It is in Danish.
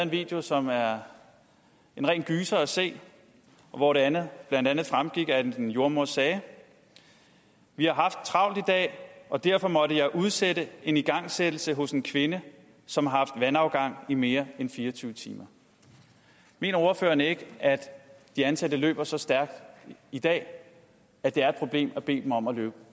video som er en ren gyser at se hvor det blandt andet fremgik at en jordemoder sagde vi har haft travlt i dag og derfor måtte jeg udsætte en igangsættelse hos en kvinde som har haft vandafgang i mere end fire og tyve timer mener ordføreren ikke at de ansatte løber så stærkt i dag at det er et problem at bede dem om at løbe